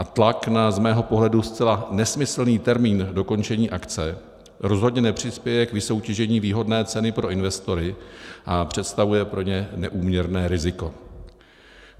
A tlak na z mého pohledu zcela nesmyslný termín dokončení akce rozhodně nepřispěje k vysoutěžení výhodné ceny pro investory a představuje pro ně neúměrné riziko.